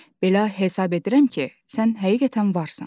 "Belə hesab edirəm ki, sən həqiqətən varsan."